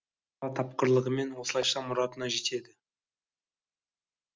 бала тапқырлығымен осылайша мұратына жетеді